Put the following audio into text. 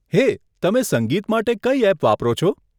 હે, તમે સંગીત માટે કઈ એપ વાપરો છો?